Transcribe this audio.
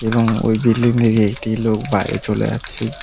এবং ওই বিল্ডিং থেকে একটি লোক বাইরে চলে যাচ্ছে।